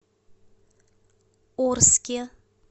орске